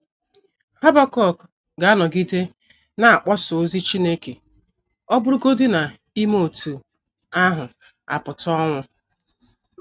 Habakuk ga - anọgide na - akpọsa ozi Chineke ọ bụrụgodị na ime otú ahụ apụta ọnwụ.